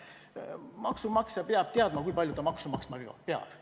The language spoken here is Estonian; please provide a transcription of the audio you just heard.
Maksumaksja peab teadma, kui palju ta maksu maksma peab.